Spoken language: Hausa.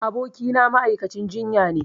Abokina ma'aikacin jinyane